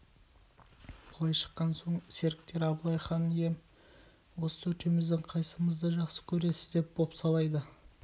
былай шыққан соң серіктер абылайға хан ием осы төртеуміздің қайсымызды жақсы көресіз деп бопсалайды